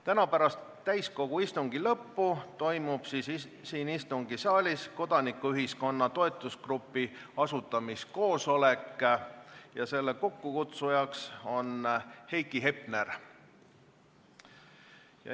Täna pärast täiskogu istungi lõppu toimub siin istungisaalis kodanikuühiskonna toetusgrupi asutamiskoosolek, kokkukutsuja on Heiki Hepner.